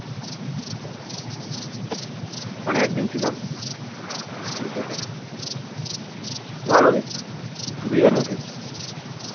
ওখানে একদিন ছিলাম দিয়ে চলে এসেছি ভালো বেশ দিঘার মতনই